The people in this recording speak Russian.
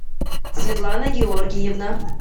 светлана георгиевна